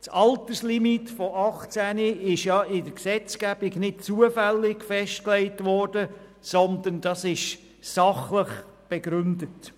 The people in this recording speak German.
Die Alterslimite von 18 Jahren wurde in der Gesetzgebung nicht zufällig festgelegt, sondern sachlich begründet.